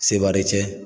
Sebaari cɛ